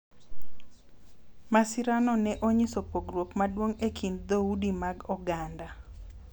Masirano ne onyiso pogruok maduong’ e kind dhoudi mag oganda .